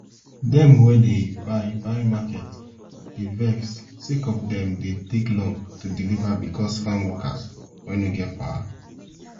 dem wey dey buy buy market dey vex sake of dem dey take long to deliver bicos farm workers wey nor get power